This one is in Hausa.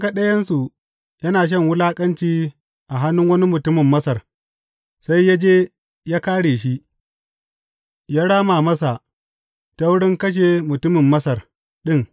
Ya ga ɗayansu yana shan wulaƙanci a hannun wani mutumin Masar, sai ya je ya kāre shi, ya rama masa ta wurin kashe mutumin Masar ɗin.